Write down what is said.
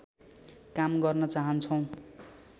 काम गर्न चाहन्छौँ